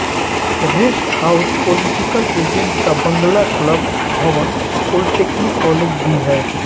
rest house political agent का बंगला club भवन पॉलिटेक्निक कॉलेज भी है